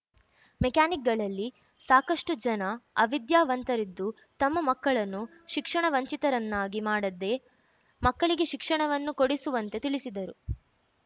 ಮೆಕ್ಯಾನಿಕ್‌ಗಳಲ್ಲಿ ಸಾಕಷ್ಟುಜನ ಅವಿದ್ಯಾವಂತರಿದ್ದು ತಮ್ಮ ಮಕ್ಕಳನ್ನು ಶಿಕ್ಷಣ ವಂಚಿತರನ್ನಾಗಿ ಮಾಡದೇ ಮಕ್ಕಳಿಗೆ ಶಿಕ್ಷಣವನ್ನು ಕೊಡಿಸುವಂತೆ ತಿಳಿಸಿದರು